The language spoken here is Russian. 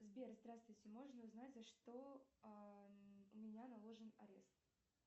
сбер здравствуйте можно узнать за что у меня наложен арест